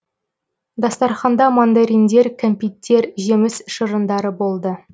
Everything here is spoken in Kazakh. дастарханда мандариндер кәмпиттер жеміс шырындары болды